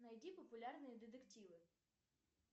найди популярные детективы